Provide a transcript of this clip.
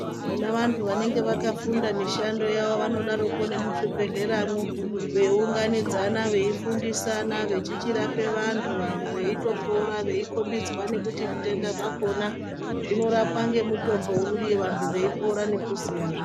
Vona vantu vanenge vakafunda mishando yavo vanodaroko nemuzvibhedhleramo veiunganidzana veifundisana vechichichirape vantu veitopora, veikhombidzwa kuti zvitenda zvakhona zvinorapwa ngemutombo uri, uye vantu veipora nekuziyahe.